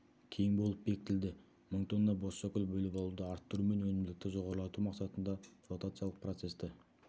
кең болып бекітілді мың тонна бозшакөл бөліп алуды арттыру мен өнімділікті жоғарылату мақсатында флотациялық процессті